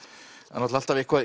náttúrulega alltaf eitthvað